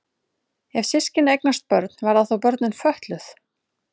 Ef systkini eignast börn verða þá börnin fötluð?